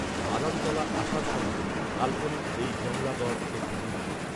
বাদামতলা আষাঢ় সঙ্ঘ, কাল্পনিক এই জংলাগড়, একটি দুর্গ